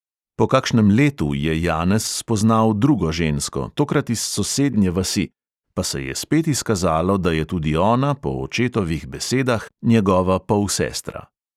Po kakšnem letu je janez spoznal drugo žensko, tokrat iz sosednje vasi, pa se je spet izkazalo, da je tudi ona po očetovih besedah njegova polsestra.